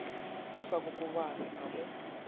a sa kokobane a mo